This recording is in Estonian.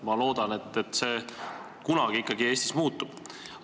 Ma loodan, et see kunagi Eestis siiski muutub.